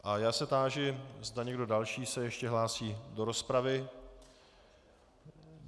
A já se táži, zda někdo další se ještě hlásí do rozpravy.